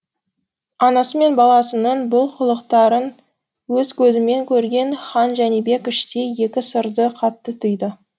анасы мен баласының бұл қылықтарын өз көзімен көрген хан жәнібек іштей екі сырды қатты түйді